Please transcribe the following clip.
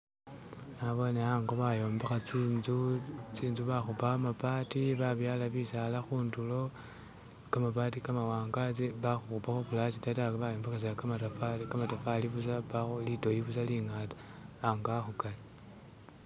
Naboone ango bayombekha tsinzu, tsinzu bakhupa kamabbati babyala bisaala khundulo, kamabati kamawanga, bakhukhupakho plasta ta bayombekhesa kamatofari, kamatofari busa lidoyi busa lingata, ango akhukali